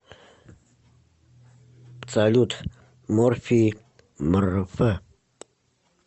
салют морфий мэрэфэ